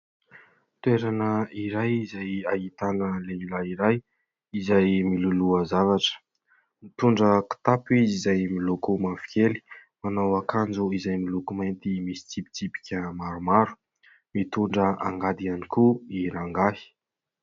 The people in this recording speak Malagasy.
Toerana iray izay ahitana lehilahy iray izay miloloha zavatra, mitondra kitapo izay miloko mavokely, manao akanjo izay miloko mainty misy tsipitsipika maromaro, mitondra angady ihany koa i rangahy.